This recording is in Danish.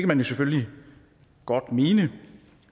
man jo selvfølgelig godt mene